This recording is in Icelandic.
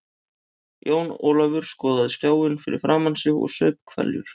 Jón Ólafur skoðaði skjáinn fyrir framan sig og saup hveljur.